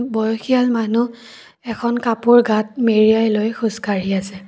বয়সিয়াল মানুহ এখন কাপোৰ গাত মেৰিয়াই লৈ খোজকাঢ়ি আছে।